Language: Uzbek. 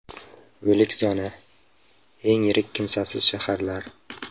O‘lik zona: eng yirik kimsasiz shaharlar.